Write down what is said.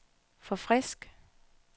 forfrisk